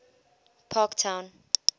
parktown